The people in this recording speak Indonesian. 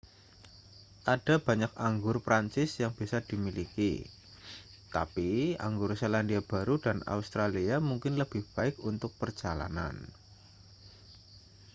ada banyak anggur prancis yang bisa dimiliki tapi anggur selandia baru dan australia mungkin lebih baik untuk perjalanan